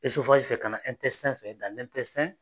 fɛ ka na fɛ